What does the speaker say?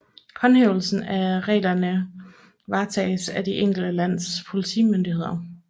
Håndhævelsen af reglerne varetages af de enkelte landes politimyndigheder